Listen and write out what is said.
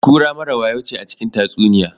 Kura mara wayo ce a cikin tatsuniya.